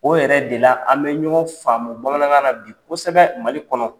O yɛrɛ de la an bɛ ɲɔgɔn faamu bamanankan na bi kosɛbɛ Mali kɔnɔ.